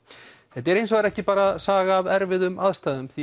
þetta er hins vegar ekki bara saga af erfiðum aðstæðum því